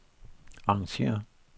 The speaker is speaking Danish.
arrangér